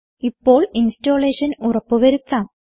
ഇപ്പോൾ ഇൻസ്റ്റലേഷൻ ഉറപ്പ് വരുത്താം